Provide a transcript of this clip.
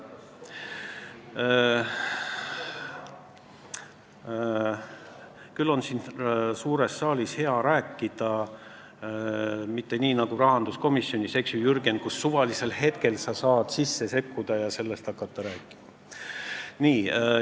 Küll on hea siin suures saalis rääkida, mitte nii nagu rahanduskomisjonis, kus sa, Jürgen, saad suvalisel hetkel sekkuda ja sellest rääkima hakata.